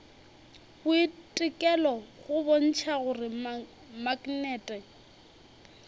boitekelo go bontšha gore maknete